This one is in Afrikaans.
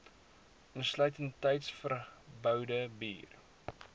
insluitend tuisverboude bier